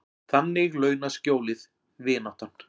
Þannig launað skjólið, vináttan.